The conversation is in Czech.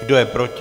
Kdo je proti?